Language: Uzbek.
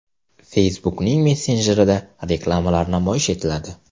Facebook’ning messenjerida reklamalar namoyish etiladi.